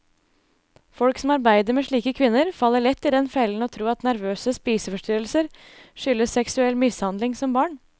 Folk som arbeider med slike kvinner, faller lett i den fellen å tro at nervøse spiseforstyrrelser skyldes seksuell mishandling som barn.